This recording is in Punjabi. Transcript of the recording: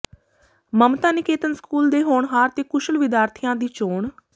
ਮਮਤਾ ਨਿਕੇਤਨ ਸਕੂਲ ਦੇ ਹੋਣਹਾਰ ਤੇ ਕੁਸ਼ਲ ਵਿਦਿਆਰਥੀਆਂ ਦੀ ਚੋਣ